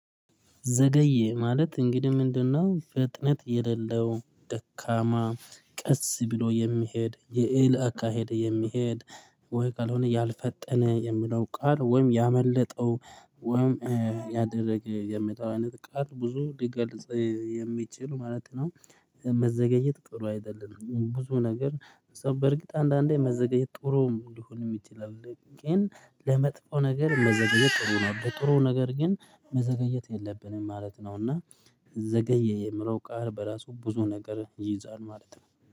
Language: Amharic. ዘገየ ማለት እንግዲህ ምንድነው? ፍጥነት የሌለው ደካማ ቀስ ብሎ የሚሄድ የኤሊ አካሄድ የሚሄድ ወይ ካልሆነ ያልፈጠነ የሚለው ቃል ወይም ያመለጠው ወይም የዘገየ የሚለው አይነት ቃል ብዙ ሊገልጽ የሚችል ማለት ነው። መዘገየት ጥሩ አይደለም ብዙ ነገር ሰ በርግጥ አንዳንዴ መዘግየት ጥሩም ሊሆን ይችላል ግን ለመጥፎ ነገር መዘገየት ጥሩ ነው። ለጥሩ ነገር ግን መዘግየት የለብንም ማለት ነው። እና ዘገየ የምለው ቃል በራሱ ብዙ ነገር ይይዛል ማለት ነው